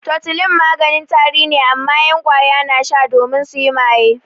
Tutolin maganin tari ne amma 'yan ƙwaya na sha domin suyi maye.